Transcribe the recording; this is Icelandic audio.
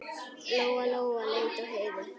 Lóa-Lóa leit á Heiðu.